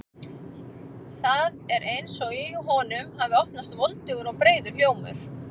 Það er eins og í honum hafi opnast voldugur og breiður hljómur.